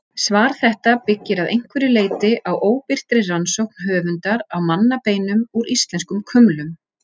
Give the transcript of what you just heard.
Svar þetta byggir að einhverju leyti á óbirtri rannsókn höfundar á mannabeinum úr íslenskum kumlum.